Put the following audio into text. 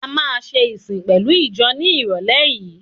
A máa ṣe ìsìn pẹ̀lú ìjọ ní ìrọ̀lé yìí.